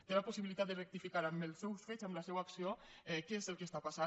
té la possibilitat de rectificar amb els seus fets amb la seua acció què és el que està passant